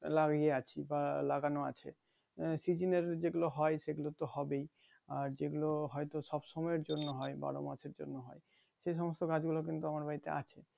লাগিয়ে আছি বা লাগানো আছে আহ সিজনের যেগুলো হয় সেগুলো তো হবেই আর যেগুলো হয়তো সবসময়ের জন্য হয় বারো মাসের জন্য হয় সে সমস্ত গাছ গুলো কিন্তু আমার বাড়িতে আছে ।